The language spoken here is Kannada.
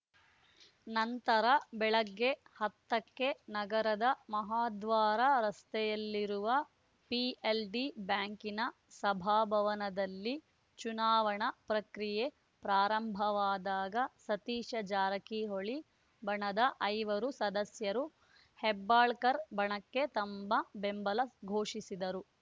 ನಂತರ ಬೆಳಗ್ಗೆ ಹತ್ತಕ್ಕೆ ನಗರದ ಮಹಾದ್ವಾರ ರಸ್ತೆಯಲ್ಲಿರುವ ಪಿಎಲ್‌ಡಿ ಬ್ಯಾಂಕಿನ ಸಭಾಭವನದಲ್ಲಿ ಚುನಾವಣಾ ಪ್ರಕ್ರಿಯೆ ಪ್ರಾರಂಭವಾದಾಗ ಸತೀಶ ಜಾರಕಿಹೊಳಿ ಬಣದ ಐವರು ಸದಸ್ಯರು ಹೆಬ್ಬಾಳ್ಕರ್‌ ಬಣಕ್ಕೆ ತಮ್ಮ ಬೆಂಬಲ ಘೋಷಿಸಿದರು